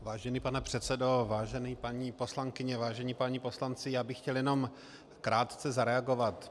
Vážený pane předsedo, vážené paní poslankyně, vážení páni poslanci, já bych chtěl jenom krátce zareagovat.